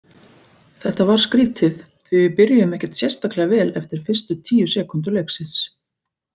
Þetta var skrítið því við byrjuðum ekkert sérstaklega vel eftir fyrstu tíu sekúndur leiksins.